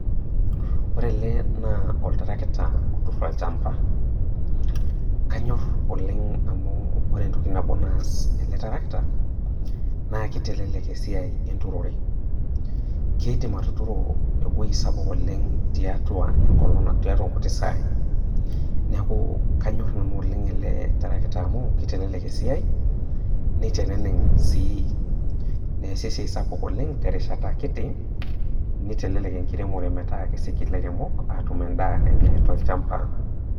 Ore ele naa oltrakita otur olchamba, aanyor oleng' amu ore entoki nabo naas ele tarakita naa keitelelek esiai enturore, keidim atuturo ewueji sapuk oleng' tiatua enkolong' tiatua inkuti saai. Neaku kanyor nanu ele tarakita oleng' amu keitelelek esiai neiteneneng' naa esiai neasi sii esiai sapuk oleng' terishata kiti, neitelelek enkiremore metaa keiseji ilairemok atum endaa enye tolchamba.